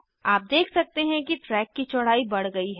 आप देख सकते हैं कि ट्रैक की चौड़ाई बड़ गयी है